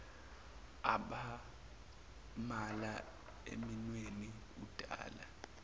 amabala eminweni udala